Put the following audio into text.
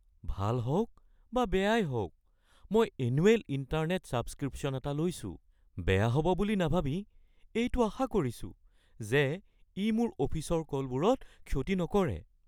ভাল হওক বা বেয়াই হওক, মই এনুৱেল ইণ্টাৰনেট ছাবস্ক্ৰিপশ্যন এটা লৈছো, বেয়া হ'ব বুলি নাভাবি এইটো আশা কৰিছো যে ই মোৰ অফিচৰ কলবোৰত ক্ষতি নকৰে।